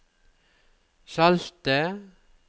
salte